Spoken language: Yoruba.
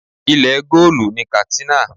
Ilẹ̀ goolu ni Katsina.